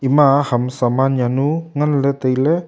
ema ham saman zao nu nagn ley tailey.